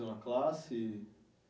Da classe